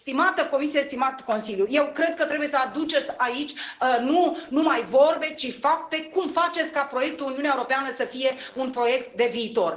Stimată Comisie, stimat Consiliu, eu cred că trebuie să aduceți aici nu numai vorbe, ci fapte cum faceți ca proiectul Uniunea Europeană să fie un proiect de viitor.